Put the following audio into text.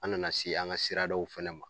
An nana se an ŋa siradaw fɛnɛ ma.